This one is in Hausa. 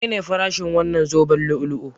Menene farashin wannan zoben lu'u-lu'u?